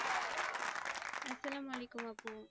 আসসালামু আলাইকুম আপু